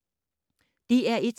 DR1